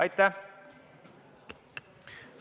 Aitäh!